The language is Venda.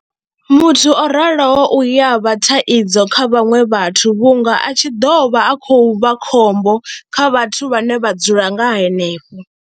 Muthu o raloho u ya vha thaidzo kha vhaṅwe vhathu vhunga a tshi ḓo vha a khou vha khombo kha vhathu vhane vha dzula nga henefho.